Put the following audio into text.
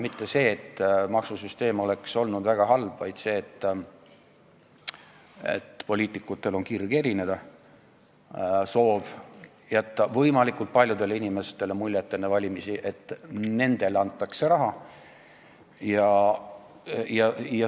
Probleem ei ole mitte see, nagu maksusüsteem oleks olnud väga halb, vaid see, et poliitikutel on kirg erineda, soov jätta võimalikult paljudele inimestele enne valimisi mulje, et nendele antakse raha.